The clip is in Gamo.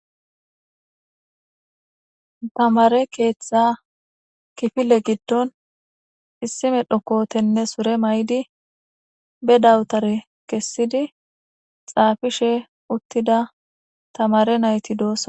Tamare keeththa kifile giddon issime dhokootenne sure may7di be dawutare kessidi xaafishe uttida tamare nayti doossa